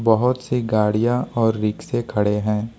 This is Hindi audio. बहोत सी गाड़ियां और रिक्शे खड़े हैं।